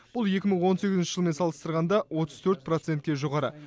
бұл екі мың он сегізінші жылмен салыстырғанда отыз төрт процентке жоғары